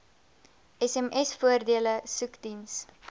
sms voordele soekdiens